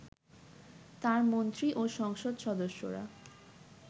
তাঁর মন্ত্রী ও সংসদ সদস্যরা